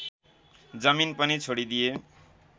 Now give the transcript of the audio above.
जमिन पनि छोडिदिए